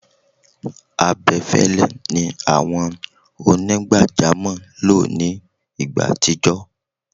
abẹfẹlẹ ni àwọn onigbajamo lọ ní igbá atijọ